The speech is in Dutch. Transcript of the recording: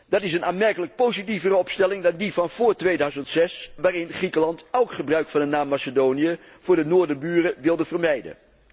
Dat is een aanmerkelijk positievere opstelling dan die van vóór 2006, waarin Griekenland elk gebruik van de naam Macedonië voor de noorderburen wilde vermijden.